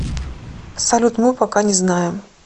салют мы пока не знаем